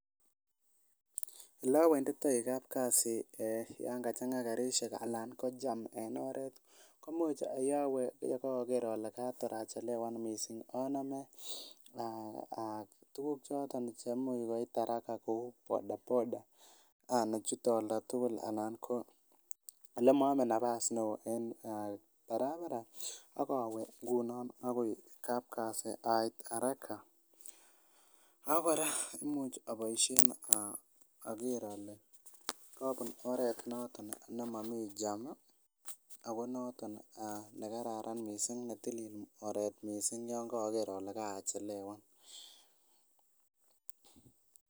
Elowenditoi kapkasi yan kachang'a karisiek alan ko jam en oret komuch yowe yekoker ole kator achelewan missing anome um tuguk choton cheimuch koit haraka kou bodaboda nechute oldatugul ana ko elemoome nafas neoo en barabara ak owe akoi kapkasi haraka ak kora imuch aboisien oker ole kobun oret noton nemomii jam ako noton nekararan missing netilil oret missing yon koker ole kachelewan